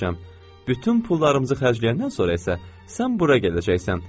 Bütün pullarımızı xərcləyəndən sonra isə, sən bura gələcəksən.